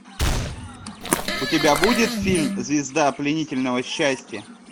у тебя будет фильм звезда пленительного счастья